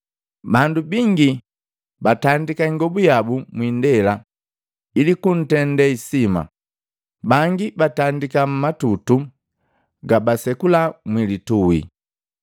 Bandu bingi batandika ingobu yabu mwiindela ili kuntende hisima, bangi batandika matutu gabasekula mwilitui.